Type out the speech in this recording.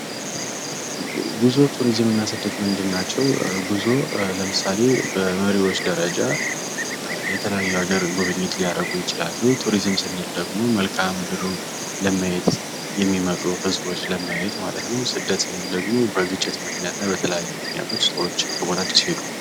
ጉዞ ቱሪዝምና እና ስደት ምንድናቸው ጉዞ ለምሳሌ በመሪዎች ደረጃ የተለያዩ ሀገር ጉብኝት ሊያደርጉ ይችላሉ ቱሪዝም ስንል ደግሞ የተለያዩ መልክዓ ምድርን ለማየት የሚመጡ ህዝቦች ማለት ሲሆን ስደት ማለት ደግሞ በተለያዩ ግጭቶች ምክንያት ሰዎች ከቦታቸው ሲሄዱ።